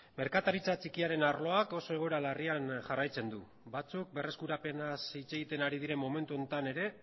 merkataritza txikiaren arloak oso egoera larrian jarraitzen du batzuk berreskurapenaz hitz egiten ari diren momentu honetan ere